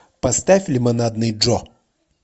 поставь лимонадный джо